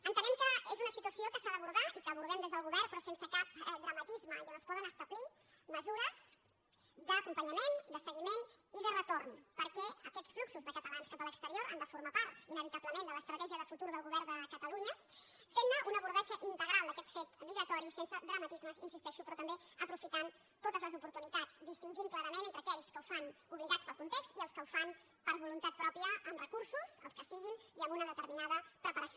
entenem que és una situació que s’ha d’abordar i que abordem des del govern però sense cap dramatisme i on es poden establir mesures d’acompanyament de seguiment i de retorn perquè aquests fluxos de catalans cap a l’exterior han de formar part inevitablement de l’estratègia de futur del govern de catalunya fent ne un abordatge integral d’aquest fet emigratori sense dramatismes hi insisteixo però també aprofitant totes les oportunitats distingint clarament entre aquells que ho fan obligats pel context i els que ho fan per voluntat pròpia amb recursos els que siguin i amb una determinada preparació